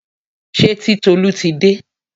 Ṣé Titolú ti dé?